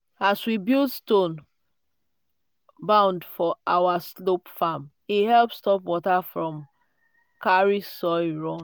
as we build stone bund for our slope farm e help stop water from carry soil run.